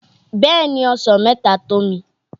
Bẹ́ẹ̀ ni, Ọsàn mẹ́ta tó mi.